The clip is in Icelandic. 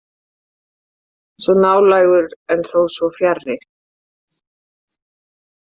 Svo nálægur en þó svo fjarri.